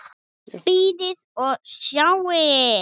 Bíðið og sjáið!